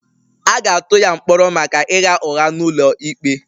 A ga-atụ ya mkpọrọ maka ịgha ụgha n'ụlọ ikpe